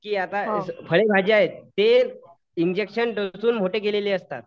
की आता फळभाजी आहेत ते इंजेक्शन टोचून मोठे केलेले असतात.